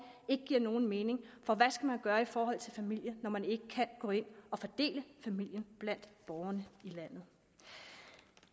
ikke giver nogen mening for hvad skal man gøre i forhold til familie når man ikke kan gå ind og fordele familie blandt borgerne i landet